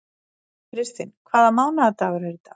Kristinn, hvaða mánaðardagur er í dag?